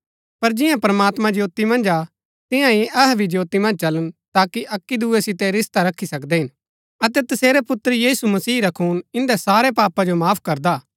पर जिआं प्रमात्मां ज्योती मन्ज हा तिआंई अहै भी ज्योती मन्ज चलन ता अक्की दुऐ सितै रिश्ता रखी सकदै हिन अतै तसेरै पुत्र यीशु मसीह रा खून ईन्दै सारै पापा जो माफ करदा